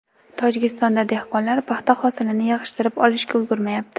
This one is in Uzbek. Tojikistonda dehqonlar paxta hosilini yig‘ishtirib olishga ulgurmayapti.